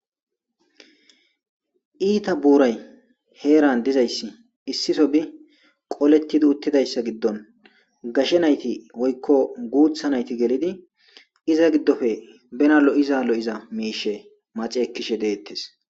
Iita buuray heeran dizayssi issiso bi qolettidi uttidayssa giddon gashe nayti woykko guutha nayti gelidi iza giddofe bena lo'iza lo'iza miishe maceekkishe deettes.